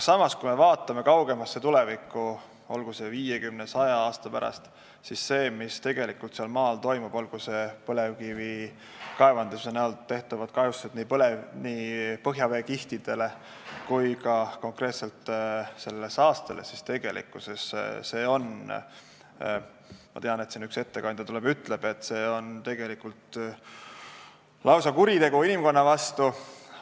Aga kui me vaatame kaugemasse tulevikku, näiteks aega 50 või 100 aasta pärast, siis on selge, et see, mis tegelikult seal maa all toimub, olgu need põlevkivikaevanduse tekitatavad kahjustused põhjaveekihtidele või ka konkreetselt see saaste, siis ma tean, et üks ettekandja tuleb ja ütleb selle kohta, et see on lausa kuritegu inimkonna vastu.